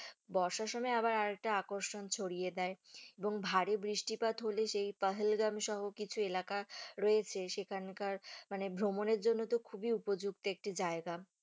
বর্ষার সময় আবার আর একটা আকর্ষণ ছড়িয়ে দেয় এবং ভারী বৃষ্টিপাত হলে সেই পাহেলগাম সহ কিছু এলাকা রয়েছে সেখানকার মানে ভ্রমণের জন্য তো খুবই উপযুক্ত একটি জায়গা।